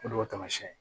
O de y'o taamasiyɛn ye